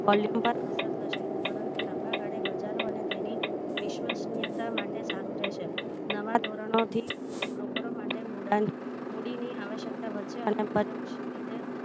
volume પર અસર થશે પરંતુ લાંબાગાળે બજારો અને તેની વિશ્વનીયતા માટે સારું રહેશે નવા ધોરણોથી broker ઓ માટે મુડાણ મૂડીની આવશ્યકતા વધશે અને પરોક્ષ રીતે